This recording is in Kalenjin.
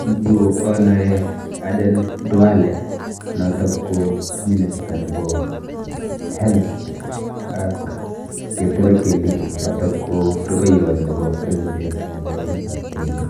En yu, anae Aden Duale, notok ko minister nebo health, ak Kithure Kindiki, notok ko rubeiywot nebo president nebo emetab Kenya.